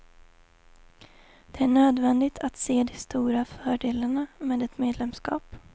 Det är nödvändigt att se de stora fördelarna med ett medlemskap.